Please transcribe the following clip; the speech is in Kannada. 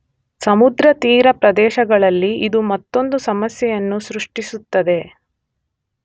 ಸಮುದ್ರ ತೀರ ಪ್ರದೇಶಗಳಲ್ಲಿ ಇದು ಮತ್ತೊಂದು ಸಮಸ್ಯೆಯನ್ನು ಸೃಷ್ಟಿಸುತ್ತದೆ.